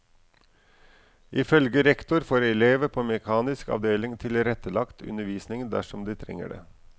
Ifølge rektor får elever på mekanisk avdeling tilrettelagt undervisning dersom de trenger det.